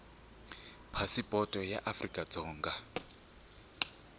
phasipoto ya afrika dzonga ya